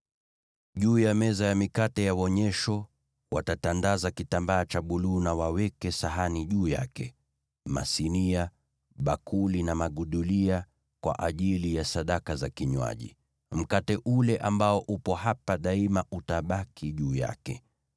“Juu ya meza ya mikate ya Wonyesho watatandaza kitambaa cha buluu na waweke sahani juu yake, masinia, bakuli na magudulia kwa ajili ya sadaka za kinywaji; mkate ule ambao upo hapa daima utabaki juu yake.